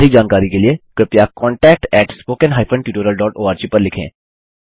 अधिक जानकारी के लिए कृपया contactspoken tutorialorg पर लिखें